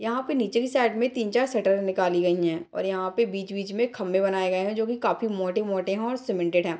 यहाँ पे नीचे की साइड में तीन चार शटर निकाली गईं हैं और यहाँ पे बीच-बीच में खम्बे बनाए गए हैं और जोकी काफी मोटे-मोटे हें और सीमेंटेड हैं।